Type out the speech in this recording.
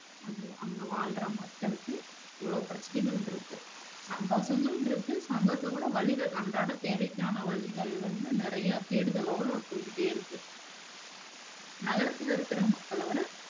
அங்க வாழ்ற மக்களுக்கு இவ்ளோ பிரச்சனைகள் இருக்கு, சந்தோசமு இருக்கு சந்தோசத்தைவிட வலிகள் அன்றாட தேவைக்கான வலிகள் வந்து நெறையா தேடுதலோட போய்கிட்டே இருக்கு நகரத்துல இருக்க மக்களவிட